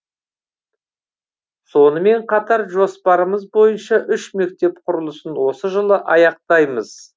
сонымен қатар жоспарымыз бойынша үш мектеп құрылысын осы жылы аяқтаймыз